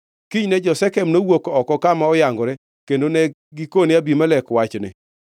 Kinyne jo-Shekem nowuok oko kama oyangore kendo ne gikone Abimelek wachni.